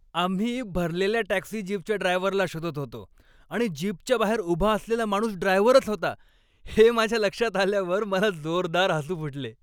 आम्ही भरलेल्या टॅक्सी जीपच्या ड्रायव्हरला शोधत होतो आणि जीपच्या बाहेर उभा असलेला माणूस ड्रायव्हरच होता हे माझ्या लक्षात आल्यावर मला जोरदार हसू फुटले.